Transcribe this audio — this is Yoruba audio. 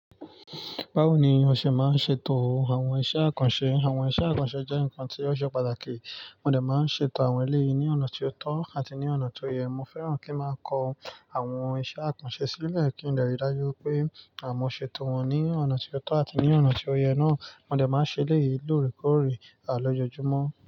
Báwo ni o ṣe è máa ń ṣeètò àwọn iṣẹ́ àkànṣe? Àwọn iṣẹ́ àkànṣe jẹ́ nǹkan tó ṣe pàtàkì, mo dà máa ń ṣe ètò àwọn eléyìí ní ọ̀nà tó tọ́ àti ní ọ̀nà tó yẹ. Mo fẹ́ràn kí n máa kọ àwọn iṣẹ́ àkànṣe sílẹ̀ kí n lè rí i dájú pé àmúṣe ètò wọn ní ọ̀nà tó tọ́ àti ní ọ̀nà tó yẹ náà. Mo dà máa ń ṣe eléyìí lóòrèkóòrè àlójujùmọ́